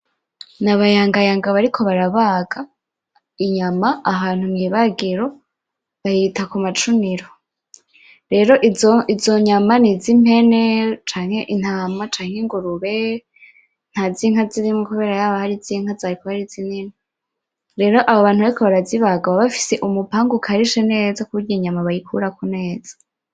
N'abayangayanga bariko barabaga inyama ahantu mwibagiro. Bayita kumacuniro. Rero izo izo nyama niz'impene canke intama canke ingurube, nta zinka zirimwo kubera yaba ari izi nka zarikuba ari zinini. Rero aba bantu bariko barazibaga baba bafise umupanga ukarishe neza kuburyo inyama bayikurako neza.